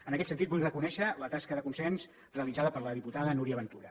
en aquest sentit vull reconèixer la tasca de consens realitzada per la diputada núria ventura